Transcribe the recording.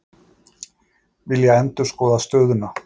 Vilja endurskoða stöðuna